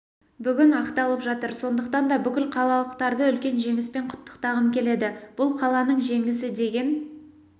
бүгін ақталып жатыр сондықтан да бүкіл қалалықтарды үлкен жеңіспен құттықтағым келеді бұл қаланың жеңісі деген